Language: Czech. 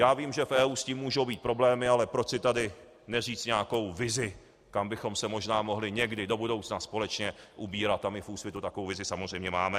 Já vím, že v EU s tím můžou být problémy, ale proč si tady neříct nějakou vizi, kam bychom se možná mohli někdy do budoucna společně ubírat, a my v Úsvitu takovou vizi samozřejmě máme.